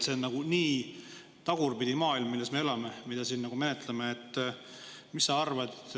See on nagu niivõrd tagurpidi maailm, milles me elame ja mida me siin menetluste käigus.